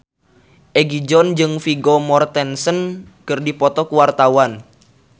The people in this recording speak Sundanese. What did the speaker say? Egi John jeung Vigo Mortensen keur dipoto ku wartawan